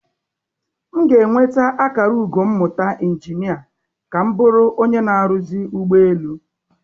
M ga-enweta akara ugo mmụta injinia ka m bụrụ onye na-arụzi ụgbọ elu.